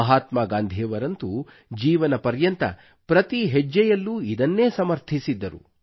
ಮಹಾತ್ಮಾ ಗಾಂಧಿಯವರಂತೂ ಜೀವನಪರ್ಯಂತ ಪ್ರತೀ ಹೆಜ್ಜೆಯಲ್ಲೂ ಇದನ್ನು ಸಮರ್ಥಿಸಿದ್ದರು